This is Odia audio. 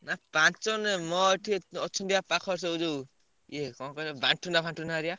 ନା ପାଞ୍ଚଜଣ ନୁହେଁ। ମୋର ଏଠି ଅଛନ୍ତି ବା ପାଖରେ ସବୁ ଯୋଉ ଇଏ କଣ କହିଲ ବାଣ୍ଟୁନା ଫାଣ୍ଟୁନା ହରିକା।